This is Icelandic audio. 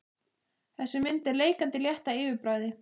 Þessi mynd er leikandi létt að yfirbragði.